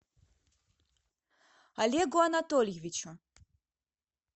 олегу анатольевичу